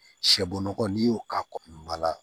Sɛbɔgɔ n'i y'o k'a kɔ la